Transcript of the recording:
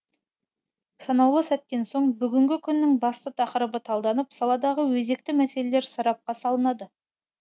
санаулы сәттен соң бүгіннің күннің басты тақырыбы талданып саладағы өзекті мәселелер сарапқа салынады